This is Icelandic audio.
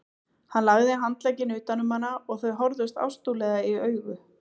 Hann lagði handlegginn utan um hana og þau horfðust ástúðlega í augu.